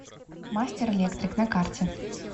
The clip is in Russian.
мастер электрик на карте